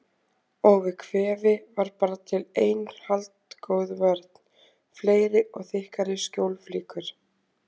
Og við kvefi var bara til ein haldgóð vörn: Fleiri og þykkari skjólflíkur.